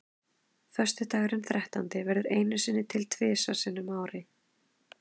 Föstudagurinn þrettándi verður einu sinni til þrisvar sinnum á ári.